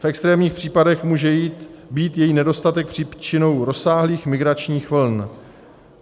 V extrémních případech může být její nedostatek příčinou rozsáhlých migračních vln.